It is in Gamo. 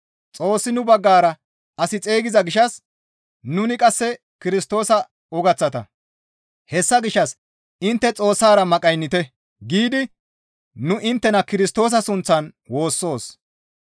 Xoossi nu baggara as xeygiza gishshas nuni qasse Kirstoosa ogaththata; hessa gishshas, «Intte Xoossara maqaynnite!» giidi nu inttena Kirstoosa sunththan woossoos.